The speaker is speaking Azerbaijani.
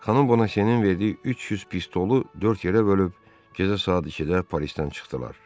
Xanım bonaşenin verdiyi 300 pistolu dörd yerə bölüb gecə saat ikidə Parisdən çıxdılar.